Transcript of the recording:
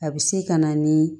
A bɛ se ka na ni